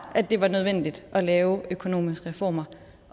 at det var nødvendigt at lave økonomiske reformer